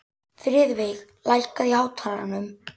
Friðveig, lækkaðu í hátalaranum.